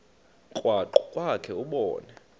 krwaqu kwakhe ubone